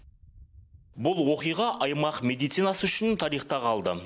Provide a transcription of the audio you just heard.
бұл оқиға аймақ медицинасы үшін тарихта қалды